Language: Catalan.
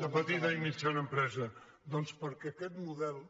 de petita i mitjana empresa doncs perquè aquest model